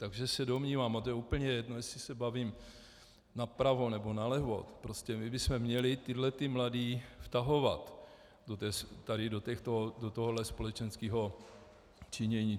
Takže se domnívám, a to je úplně jedno, jestli se bavím napravo nebo nalevo, prostě my bychom měli tyhlety mladé vtahovat tady do tohohle společenského činění.